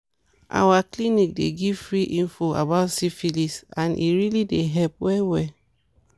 our clinic dey give free info about syphilis and e really dey help well well